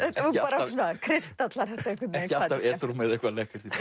hún svona kristallar þetta einhvern veginn ekki alltaf edrú með eitthvað lekkert